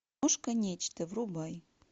нечто врубай